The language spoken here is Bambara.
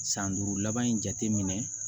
San duuru laban in jateminɛ